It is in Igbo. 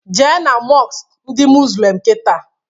Jee na mọsk ndị muzlim kịta!